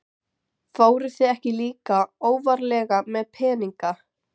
Fóruð þið ekki líka óvarlega með peninga?